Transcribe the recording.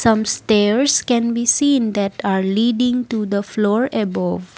some stairs can be seen that are leading to the floor above.